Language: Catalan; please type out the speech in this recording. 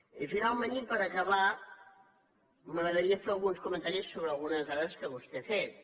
i finalment i per acabar m’agradaria fer alguns comentaris sobre algunes dades que vostè ha fet